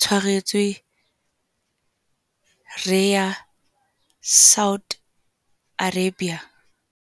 tshwaretswe Riyadh Saudi Arabia.